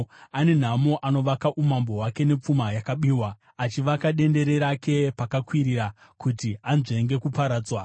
“Ane nhamo anovaka umambo hwake nepfuma yakabiwa, achivaka dendere rake pakakwirira, kuti anzvenge kuparadzwa!